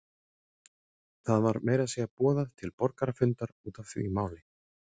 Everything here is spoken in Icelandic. Það var meira að segja boðað til borgarafundar út af því máli.